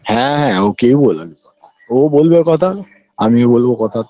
হ্যাঁ হ্যাঁ ওকেও বললাম ওও বলবে কথা আমিও বলবো কথা